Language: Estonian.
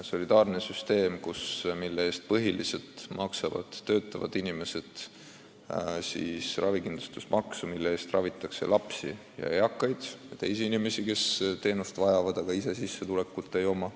Solidaarse süsteemi kohaselt maksavad töötavad inimesed ravikindlustusmaksu, mille eest ravitakse lapsi, eakaid ja teisi inimesi, kes arstiabi vajavad, aga sissetulekut ei saa.